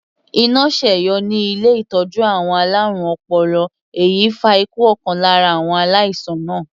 Iná sẹ́yọ ní ilé ìtọ́jú àwọn alárùn ọpọlọ èyí fa ikú ọ̀kan lára àwọn aláìsàn náà.